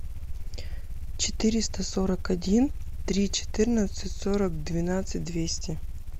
четыреста сорок один три четырнадцать сорок двенадцать двести